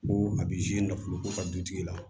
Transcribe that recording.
Ko a bɛ nafolo ko ka du tigi la